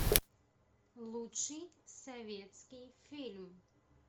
лучший советский фильм